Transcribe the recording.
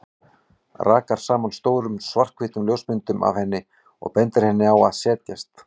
Rakar saman stórum, svarthvítum ljósmyndum af henni og bendir henni á að setjast.